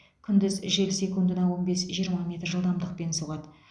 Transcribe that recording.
күндіз жел секундына он бес жиырма метр жылдамдықпен соғады